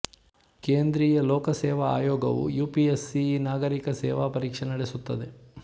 ಕೇಂದ್ರೀಯ ಲೋಕ ಸೇವಾ ಆಯೋಗವು ಯುಪಿಎಸ್ ಸಿಈ ನಾಗರಿಕ ಸೇವಾ ಪರೀಕ್ಷೆ ನಡೆಸುತ್ತದೆ